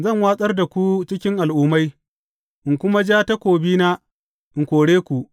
Zan watsar da ku cikin al’ummai, in kuma ja takobina in kore ku.